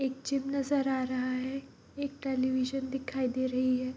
एक जिम नजर आ रहा है एक टेलीविशन दिखाई दे रही है।